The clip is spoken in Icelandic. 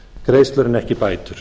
greiðslur en ekki bætur